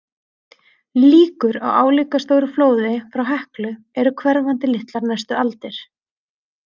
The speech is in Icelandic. Líkur á álíka stóru flóði frá Heklu eru hverfandi litlar næstu aldir.